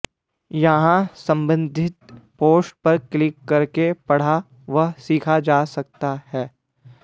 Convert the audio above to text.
यहाँ सम्बन्धित पोस्ट पर क्लिक करके पढ़ा व सीखा जा सकता है